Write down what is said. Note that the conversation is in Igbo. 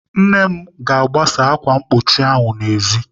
Nne m ga-agbasa ákwà mkpuchi ahụ n'ezi taa.